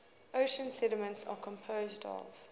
ocean sediments are composed of